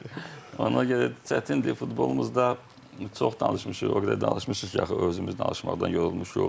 Ona görə çətindir, futbolumuzda çox danışmışıq, o qədər danışmışıq ki, axı özümüz danışmaqdan yorulmuşuq.